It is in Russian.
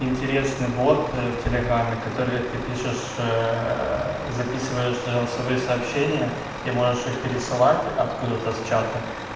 интересный бот в телеграме который ты пишешь записываются голосовые сообщения и можешь их пересылать откуда-то с чата